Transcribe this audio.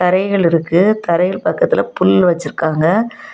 தரைகள் இருக்கு தரைகள் பக்கத்துல புல் வெச்சிருக்காங்க.